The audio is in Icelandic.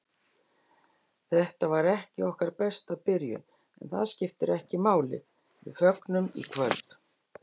Þetta var ekki okkar besta byrjun, en það skiptir ekki máli, við fögnum í kvöld.